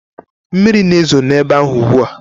Mmiri na-ezo n'ebe ahụ ugbu a?